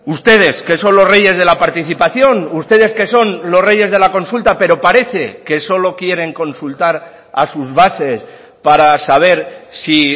ustedes que son los reyes de la participación ustedes que son los reyes de la consulta pero parece que solo quieren consultar a sus bases para saber si